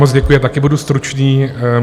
Moc děkuji, já taky budu stručný.